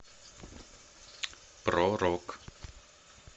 про рок